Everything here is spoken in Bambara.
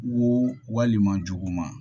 Wo walima juguma